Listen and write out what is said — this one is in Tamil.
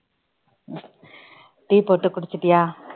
tea போட்டு குடிச்சிட்டியா